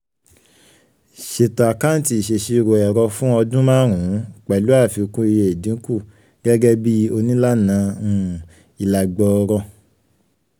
ṣètò àkáǹtì ìṣèṣirò ẹ̀rọ fún ọdún márùn-ún pẹ̀lú àfikún iye ìdínkù um gẹ́gẹ́ bíi onílànà um ilà gbọọrọ um